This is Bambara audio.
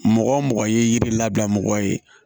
Mɔgɔ mɔgɔ ye yiri labila mɔgɔ ye